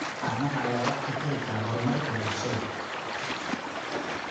Caanaha ayaa wax ka tari kara horumarka bulshada.